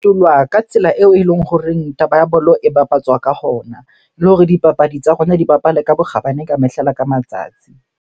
Ka tsela eo eleng horeng taba ya bolo e bapatswa ka hona. Le hore dipapadi tsa rona di bapale ka bokgabane ka mehla le ka matsatsi.